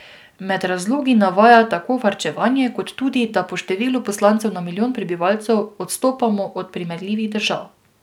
Med razlogi navaja tako varčevanje, kot tudi, da po številu poslancev na milijon prebivalcev odstopamo od primerljivih držav.